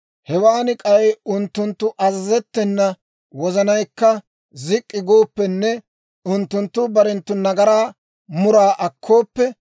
hewan k'ay unttunttu azazettena wozanaykka zik'k'i gooppenne unttunttu barenttu nagaraa muraa akkooppe,